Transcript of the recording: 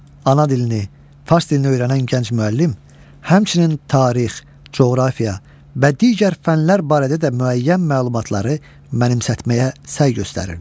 Ana dilini, fars dilini öyrənən gənc müəllim, həmçinin tarix, coğrafiya və digər fənlər barədə də müəyyən məlumatları mənimsətməyə səy göstərirdi.